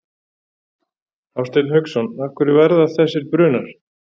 Hafsteinn Hauksson: Af hverju verða þessir brunar?